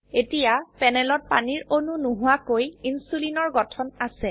এতিয়া প্যানেলত পানীৰ অণু নোহোৱাকৈ ইনসুলিনৰ গঠন আছে